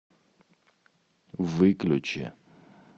выключи